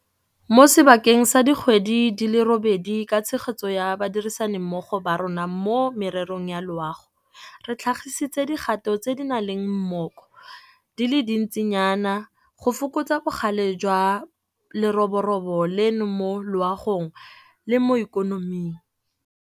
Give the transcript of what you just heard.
Mo sebakeng sa dikgwedi di le robedi ka tshegetso ya badirisanimmogo ba rona mo mererong ya loago, re tlhagisitse dikgato tse di nang le mmoko di le dintsinyana go fokotsa bogale jwa leroborobo leno mo loagong le mo ikonoming.